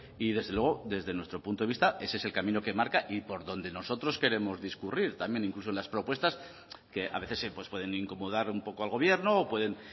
y desde luego desde nuestro punto de vista ese es el camino que marca y por donde nosotros queremos discurrir también incluso en las propuestas que a veces pueden incomodar un poco al gobierno o pueden